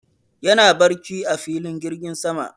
yana barci a filin jirgin sama